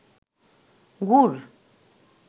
গুড়